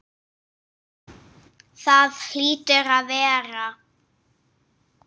Það hlýtur að vera.